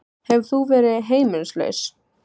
Hefur þú verið heimilislaus?